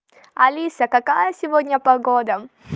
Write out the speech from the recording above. алиса какая сегодня погода